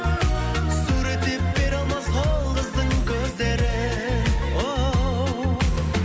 суреттеп бере алмас ол қыздың көздерін оу